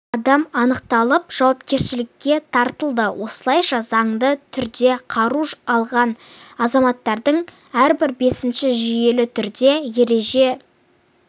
адам анықталып жауапкершілікке тартылды осылайша заңды түрде қару алған азаматтардың әрбір бесіншісі жүйелі түрде ереже